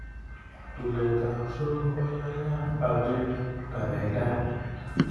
tulet apsuol koyaya aker kakaikaet